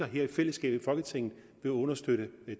her i fællesskab i folketinget vil understøtte